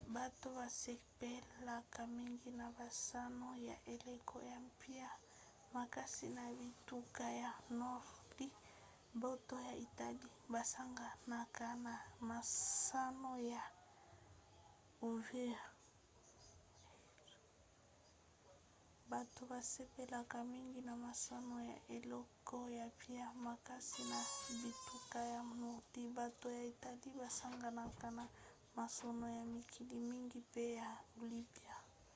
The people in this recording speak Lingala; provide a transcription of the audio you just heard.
bato basepelaka mingi na masano ya eleko ya mpio makasi na bituka ya nordi bato ya italie basanganaka na masano ya mikili mingi mpe ya olympique